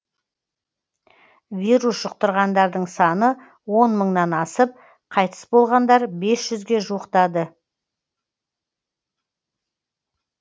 вирус жұқтырғандардың саны он мыңнан асып қайтыс болғандар бес жүзге жуықтады